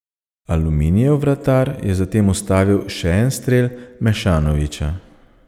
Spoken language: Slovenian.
Aluminijev vratar je zatem ustavil še en strel Mešanovića.